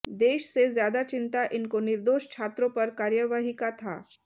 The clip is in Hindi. देश से ज्यादा चिंता इनको निर्दोष छात्रों पर कार्यवाही का था